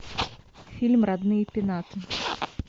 фильм родные пенаты